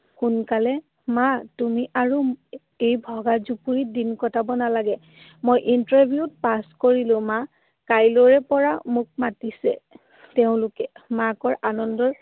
সোনকালে। মা, তুমি আৰু এই ভগা জুপুৰিত দিন কটাব নালাগে। মই interview ত pass কৰিলো মা। কাইলৈৰ পৰা মোক মাতিছে তেওঁলোকে। মাকৰ আনন্দৰ